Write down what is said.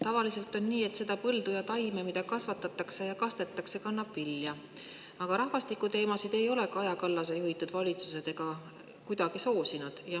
Tavaliselt on nii, et see põld või taim, mida kasvatatakse ja kastetakse, kannab vilja, aga rahvastikuteemasid ei ole Kaja Kallase juhitud valitsused kuidagi soosinud.